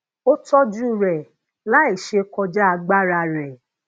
ó tojuu re lai se koja agbara re